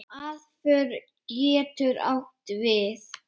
Aðför getur átt við